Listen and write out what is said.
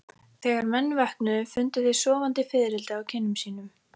Þegar menn vöknuðu fundu þeir sofandi fiðrildi á kinnum sínum.